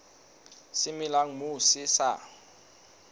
se melang moo se sa